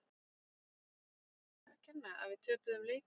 Var það mér að kenna að við töpuðum leikjum?